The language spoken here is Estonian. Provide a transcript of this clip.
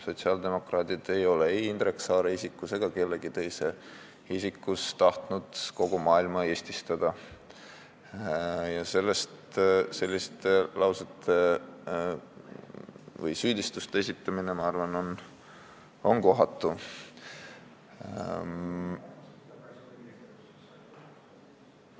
Sotsiaaldemokraadid pole ei Indrek Saare isikus ega kellegi teise isikus tahtnud kogu maailma eestistada ja selliste süüdistuste esitamine on minu arvates kohatu.